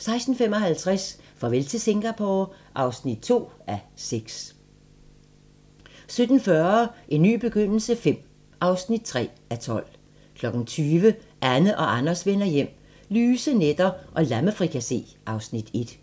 16:55: Farvel til Singapore (2:6) 17:40: En ny begyndelse V (3:12) 20:00: Anne og Anders vender hjem - lyse nætter og lammefrikassé (Afs. 1)